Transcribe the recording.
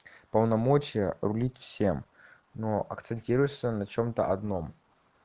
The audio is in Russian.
полномочия рулить всем но акцентируешься на чем-то одном